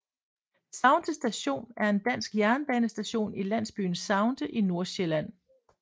Saunte Station er en dansk jernbanestation i landsbyen Saunte i Nordsjælland